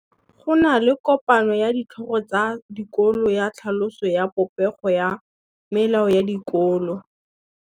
Go na le kopanô ya ditlhogo tsa dikolo ya tlhaloso ya popêgô ya melao ya dikolo.